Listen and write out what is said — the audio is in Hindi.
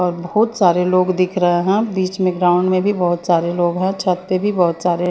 और बहुत सारे लोग दिख रहे हैं बीच में ग्राउंड में भी बहुत सारे लोग हैं छत पर भी बहुत सारे --